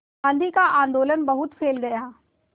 गांधी का आंदोलन बहुत फैल गया